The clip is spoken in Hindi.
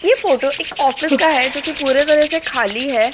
ये फोटो एक ऑफिस का है जो कि पूरे तरह से खाली है।